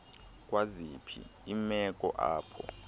kwaziphi iimeko apho